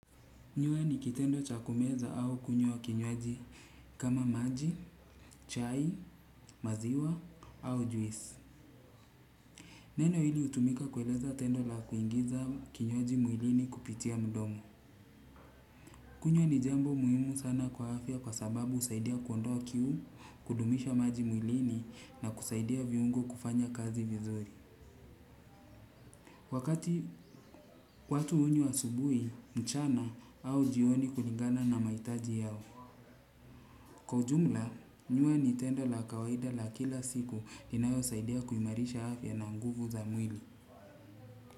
Nyua ni kitendo chakumeza au kunywa kinywaji kama maji, chai, maziwa au juisi. Neno hili utumika kueleza tendo la kuingiza kinywaji mwilini kupitia mdomo. Kunywa ni jembo muhimu sana kwa afya kwa sababu usaidia kuondoa kiu kudumisha maji muilini na kusaidia viungo kufanya kazi vizuri. Wakati watu unywa asubui, mchana au jioni kulingana na maitaji yao. Kwa ujumla, nyua Nintendo la kawaida la kila siku dinayo saidea kuimarisha afya nanguvu za mwili.